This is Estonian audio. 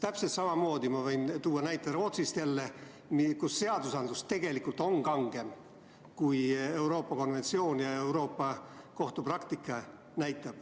Ma võin jälle tuua näite Rootsist, kus seadused on tegelikult kangemad kui Euroopa konventsioon ja Euroopa Kohtu praktika.